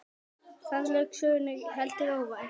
Þar lauk sögnum, heldur óvænt.